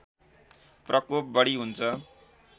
प्रकोप बढी हुन्छ